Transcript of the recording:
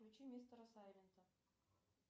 включи мистера сайлента